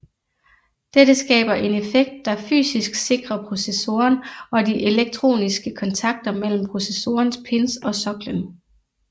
Dette skaber en effekt der fysisk sikrer processoren og de elektroniske kontakter mellem processorens pins og soklen